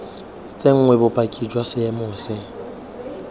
tsenngwe bopaki jwa seemo se